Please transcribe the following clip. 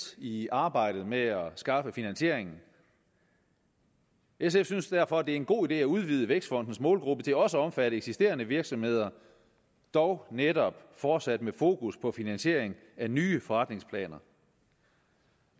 i arbejdet med at skaffe finansiering sf synes derfor det er en god idé at udvide vækstfondens målgruppe til også at omfatte eksisterende virksomheder dog netop fortsat med fokus på finansiering af nye forretningsplaner